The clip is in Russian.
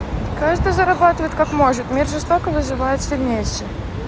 каждый зарабатывает как может мир жесток и выживает сильнейший